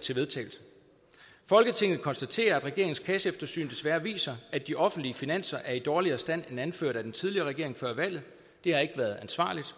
til vedtagelse folketinget konstaterer at regeringens kasseeftersyn desværre viser at de offentlige finanser er i dårligere stand end anført af den tidligere regering før valget det har ikke været ansvarligt